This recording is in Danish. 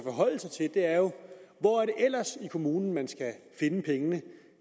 er jo hvor er det ellers i kommunen man skal finde pengene